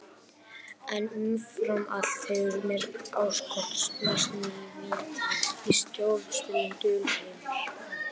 En umfram allt hefur mér áskotnast ný vídd í sjónarspilið, dulheimar.